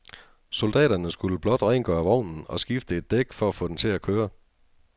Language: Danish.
Soldaterne skulle blot rengøre vognen og skifte et dæk for at få den til at køre.